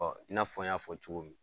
i n'a fɔ n y'a fɔ cogo min